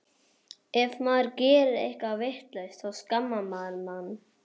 Ef maður gerir eitthvað vitlaust þá skammar hann mann.